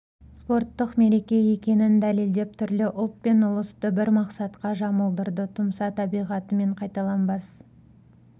спорттық мереке екенін дәлелдеп түрлі ұлт пен ұлысты бір мақсатқа жұмылдырды тұмса табиғаты мен қайталанбас